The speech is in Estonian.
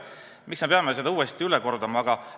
Miks me peame seda uuesti üle kordama?